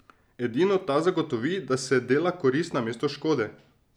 Edino ta zagotovi, da se dela korist namesto škode.